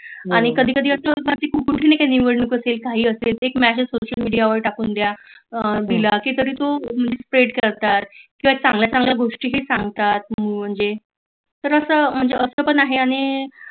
आणि कधी कधी अस होत की घाई असते एक Message social media वर टाकून द्या तरी तो spread करतात काही चांगल्या चांगल्या गोष्टी ही सांगतात म्हणजे तर अस म्हणजे अस पण आहे आणि